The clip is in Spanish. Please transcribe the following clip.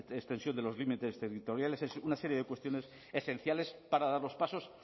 extensión de los límites territoriales una serie de cuestiones esenciales para dar los pasos